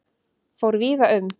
Fóru víða um